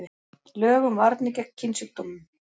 Lög um varnir gegn kynsjúkdómum.